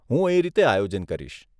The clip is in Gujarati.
હું એ રીતે આયોજન કરીશ.